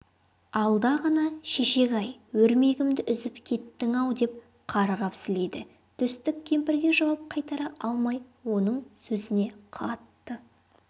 алда ғана шешек-ай өрмегімді үзіп кеттің-ау деп қарғап-сілейді төстік кемпірге жауап қайтара алмай оның сөзіне қатты